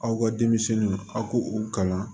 Aw ka denmisɛnninw aw k'u u kalan